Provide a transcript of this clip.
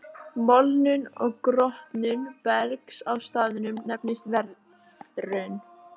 Molnun og grotnun bergs á staðnum nefnist veðrun.